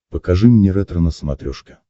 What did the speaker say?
покажи мне ретро на смотрешке